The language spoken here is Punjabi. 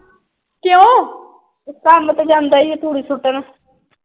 ਕੰਮ ਤੇ ਜਾਂਦਾ ਆ ਧੂੜੀ ਸੁੱਟਣ।